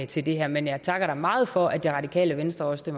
til det her men jeg takker da meget for at det radikale venstre også